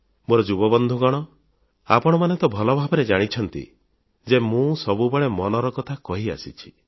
ମୋର ଯୁବବନ୍ଧୁଗଣ ଆପଣମାନେ ତ ଭଲଭାବରେ ଜାଣିଛନ୍ତି ଯେ ମୁଁ ସବୁବେଳେ ମନର କଥା ହୃଦୟର କଥା କହିଆସିଛି